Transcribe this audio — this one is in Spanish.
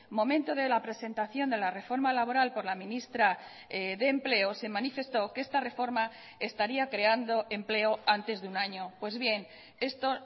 momento de la presentación de la reforma laboral por la ministra de empleo se manifestó que esta reforma estaría creando empleo antes de un año pues bien esto